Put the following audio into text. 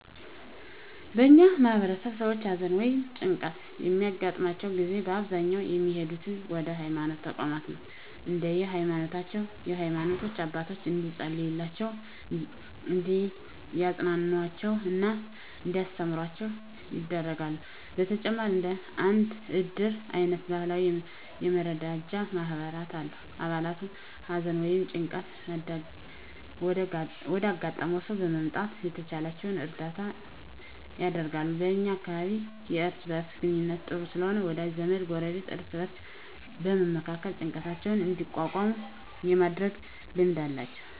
በእኛ ማህበረሰብ ሰዎች ሀዘን ወ ይም ጭንቀት በሚያገጥማቸው ጊዜ በአብዛኛው የሚሄዱት ወደ ሀይማኖት ተቋማት ነው። እንደየ ሀይማኖታቸው የሃይማኖት አባቶች እንዲፀልዩላቸው፣ እንዲያፅናኑአቸው እና እንዲያስተምሩአቸው ያደርጋሉ። በተጨማሪም እንደ እድር አይነት ባህላዊ የመረዳጃ ማህበራት አሉ። አባላቱ ሀዘን ወይም ጭንቀት ወዳጋጠመው ሰው በመምጣት የተቻላቸውን እርዳታ ያደርጋሉ። በ እኛ አካባቢ የእርስ በእርስ ግንኙነቱ ጥሩ ስለሆነ ወዳጅ ዘመድ፣ ጎረቤት እርስ በእርስ በመመካከር ጭንቀታቸውን እንዲቋቋሙ የማድረግ ልማድ አላቸው።